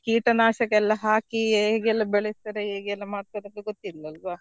ಕೀಟನಾಶಕ ಎಲ್ಲ ಹಾಕಿ ಹೇಗೆಲ್ಲ ಬೆಳೀತಾರೆ ಹೇಗೆಲ್ಲ ಮಾಡ್ತಾರೆ ಅಂತ ಗೊತ್ತಿಲ್ವಲ್ವಾ?